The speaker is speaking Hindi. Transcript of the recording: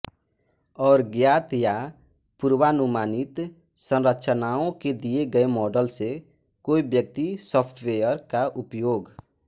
और ज्ञात या पूर्वानुमानित संरचनाओं के दिए गए मॉडल से कोई व्यक्ति सॉफ्टवेयर का उपयोग